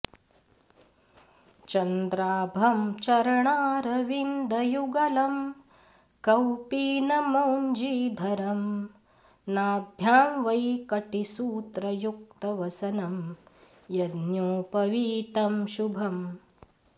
चन्द्राभं चरणारविन्दयुगलं कौपीनमौञ्जीधरं नाभ्यां वै कटिसूत्रयुक्तवसनं यज्ञोपवीतं शुभम्